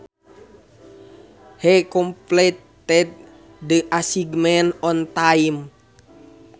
He completed the assignment on time